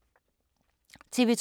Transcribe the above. TV 2